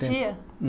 Tempo.